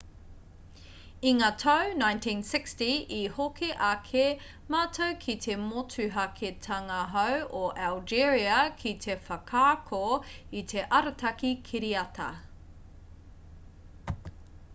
i ngā tau 1960 i hoki ake mātou ki te motuhaketanga-hou o algeria ki te whakaako i te arataki kiriata